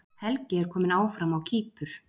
Helgi er kominn áfram á Kýpur